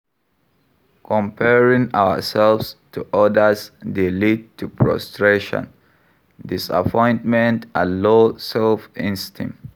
Comparing ourselves to odas dey lead to frustration, disappointment and low self-esteem.